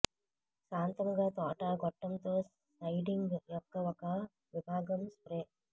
శాంతముగా తోట గొట్టం తో సైడింగ్ యొక్క ఒక విభాగం స్ప్రే